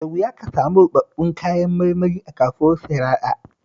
Da wuya ka samu ruɓaɓɓun kayan marmari a kasuwar Sharaɗa